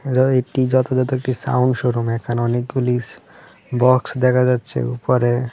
একটি যথাযথ একটি সাউন্ড শোরুম এখানে অনেকগুলি বক্স দেখা যাচ্ছে উপরে।